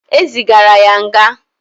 E zigara ya nga.